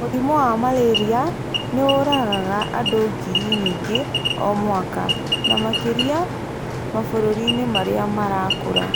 Mũrimũ wa malaria nĩ ũragaga andũ ngiri nyingĩ o mwaka, na makĩria mabũrũri-inĩ marĩa marakũra.